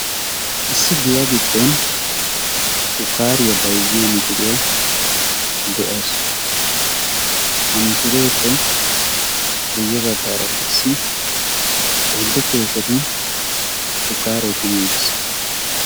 Issi giya giddon shukkariya bayzziyaa miishshiriya de'awus. ha miishshireppe guyye baggara qassi oyddu keeshshetun shukkare kummi uttiis.